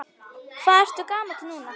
Hvað ertu gamall núna?